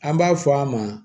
An b'a fɔ a ma